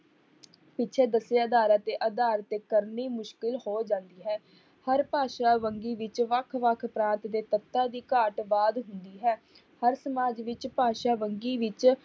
ਪਿੱਛੇ ਦੱਸੇ ਆਧਾਰਾਂ ਦੇ ਆਧਾਰ ਤੇ ਕਰਨੀ ਮੁਸ਼ਕਿਲ ਹੋ ਜਾਂਦੀ ਹੈ ਹਰ ਭਾਸ਼ਾ ਵੰਨਗੀ ਵਿੱਚ ਵੱਖ ਵੱਖ ਪ੍ਰਾਂਤ ਦੇ ਤੱਤਾਂ ਦੀ ਘਾਟ ਬਾਅਦ ਹੁੰਦੀ ਹੈ, ਹਰ ਸਮਾਜ ਵਿੱਚ ਭਾਸ਼ਾ ਵੰਨਗੀ ਵਿੱਚ